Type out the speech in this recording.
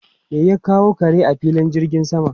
Me ya kawo kare a filin jirgin sama?